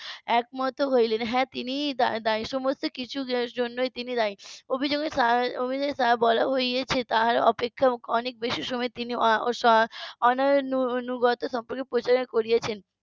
একমত হইলেন হ্যাঁ তিনিই দায়ী সমস্ত কিছুর জন্যই তিনি দায়ী অভিযোগে যা বলা হয়েছে তার অপেক্ষা অনেক বেশি সময় তিনি আহ উম অনুগত সম্পর্কে পরিচালনা করিয়েছেন